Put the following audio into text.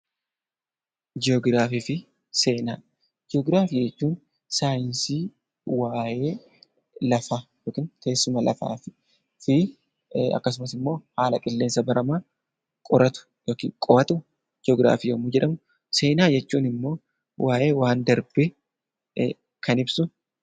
Ji'ograafii jechuun saayinsii waa'ee lafaa yookiin teessuma lafaa fi akkasumas haala qilleensa baramaa qoratu yookiin qo'atu yoo ta'u, seenaa jechuun immoo waa'ee waan darbee kan ibsudha.